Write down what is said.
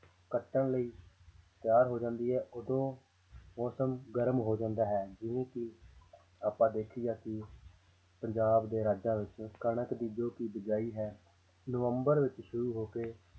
ਕੱਟਣ ਲਈ ਤਿਆਰ ਹੋ ਜਾਂਦੀ ਹੈ ਉਦੋਂ ਮੌਸਮ ਗਰਮ ਹੋ ਜਾਂਦਾ ਹੈ ਜਿਵੇਂ ਕਿ ਆਪਾਂ ਦੇਖਿਆ ਕਿ ਜ਼ਿਆਦਾ ਕਣਕ ਦੀ ਜੋ ਕਿ ਬੀਜਾਈ ਹੈ ਨਵੰਬਰ ਵਿੱਚ ਸ਼ੁਰੂ ਹੋ ਕੇ